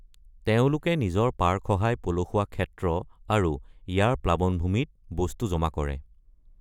তেওঁলোকে নিজৰ পাৰ খহাই পলসুৱা ক্ষেত্ৰ আৰু ইয়াৰ প্লাৱনভূমিত বস্তু জমা কৰে।